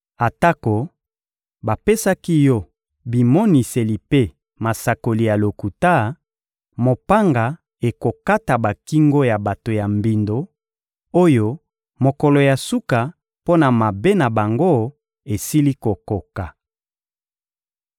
Atako bapesaki yo bimoniseli mpe masakoli ya lokuta, mopanga ekokata bakingo ya bato ya mbindo oyo mokolo ya suka mpo na mabe na bango esili kokoka.